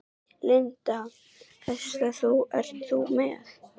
Linda: Hvaða hest ert þú með?